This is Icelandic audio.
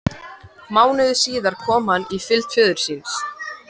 Mánuði síðar kom hann í fylgd föður síns.